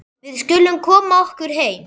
Við skulum koma okkur heim.